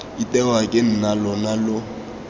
itewa ke nna lona lo